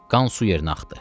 Qan su yerinə axdı.